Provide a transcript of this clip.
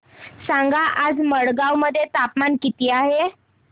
सांगा आज मडगाव मध्ये तापमान किती आहे